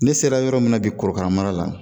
Ne sera yɔrɔ min na bi korokara mara la